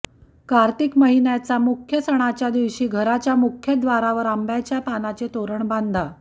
कार्तिक महिन्याचा मुख्य सणाच्या दिवशी घराच्या मुख्यदारावर आंब्याच्या पानाचे तोरण बांधा